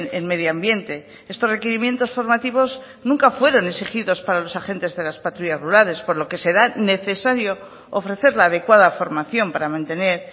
en medioambiente estos requerimientos formativos nunca fueron exigidos para los agentes de las patrullas rurales por lo que será necesario ofrecer la adecuada formación para mantener